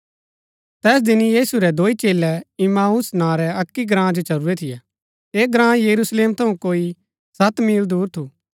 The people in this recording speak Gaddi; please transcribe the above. तैस दिन यीशु रै दोई चेलै इम्माऊस नां रै अक्की ग्राँ जो चलुरै थियै ऐह ग्राँ यरूशलेम थऊँ कोई सत मील दूर थू